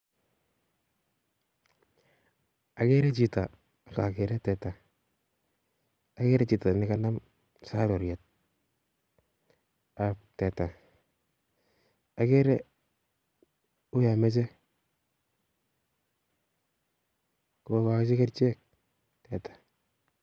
Agree chito ak ageree teta, agere chito nekanam sarurietab teta uyon moche kokochi kerichek teta